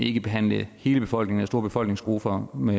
ikke behandle hele befolkningen store befolkningsgrupper med